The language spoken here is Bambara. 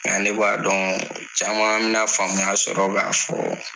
Nka ne b'a dɔn caman bɛna faamuya sɔrɔ k'a fɔ